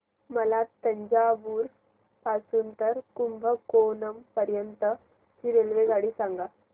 मला तंजावुर पासून तर कुंभकोणम पर्यंत ची रेल्वेगाडी सांगा